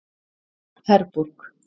Herborg